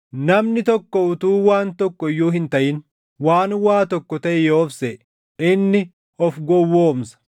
Namni tokko utuu waan tokko iyyuu hin taʼin, waan waa tokko taʼe yoo of seʼe, inni of gowwoomsa.